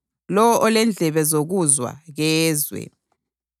Lowo olendlebe zokuzwa, kezwe.